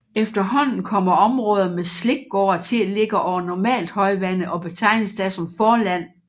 Efterhånden kommer områder med slikgårde til at ligge over normalt højvande og betegnes da som forland